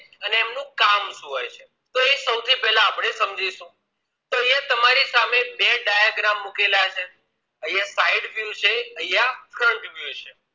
કામ શું હોય છે તો એ સોથી પેહલા આપણે સમજીશું તો અહિયાં તમારી સામે બે diagram મુકેલા છે અહિયાં side view છે અહિયાં frant view છે